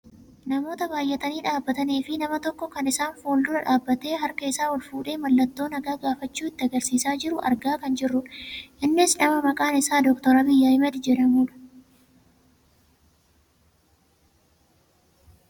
Namoota baayyatanii dhaabbatanii fi nama tokko kan isaan fuuldura dhaabbattee harka isaa ol fuudhee mallattoo nagaa gaafachuu itti agarsiisaa jiru argaa kan jirrudha. Innis nama maqaan isaa Dr Abiyyi Ahimed jedhamudha.